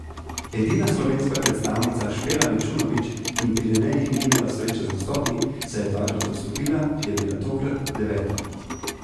Edina slovenska predstavnica Špela Mičunovič, ki v Pirenejih ni imela sreče z nastopi, saj je dvakrat odstopila, je bila tokrat deveta.